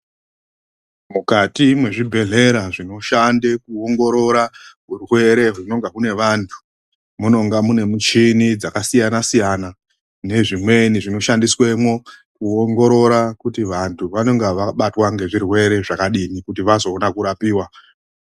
Mukati mwezvibhedhlera zvinoshande kuongorora urwere hunonga hune vanthu. Munonga mune michhini dzakasiyana-siyana nezvimweni zvinoshandiswa mwo, kuongorora kuti vanhu vanenge vabatwa ngezvirwere zvakadini. Kuti vazoona kurapiwa.